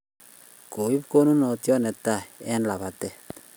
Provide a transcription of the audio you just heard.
Koip konunot ne tai eng' labatetm